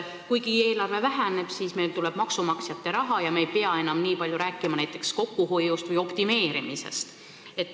Kuigi eelarve väheneb, tuleb meil maksumaksjate raha ja me ei peaks enam nii palju rääkima näiteks kokkuhoiust või optimeerimisest.